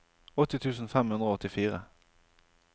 åtti tusen fem hundre og åttifire